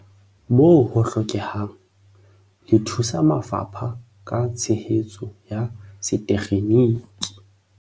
Moo ho hlokehang, le thusa mafapha ka tshehetso ya setekgeniki.